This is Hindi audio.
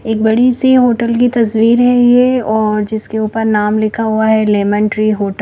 एक बड़ी सी होटल की तस्वीर है ये और जिसके ऊपर नाम लिखा हुआ है लेमन ट्री होट--